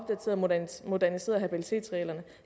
moderniseret habilitetsreglerne